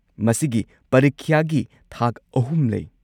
ꯃꯁꯤꯒꯤ ꯄꯔꯤꯈ꯭ꯌꯥꯒꯤ ꯊꯥꯛ ꯑꯍꯨꯝ ꯂꯩ꯫